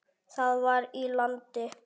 Það var í landi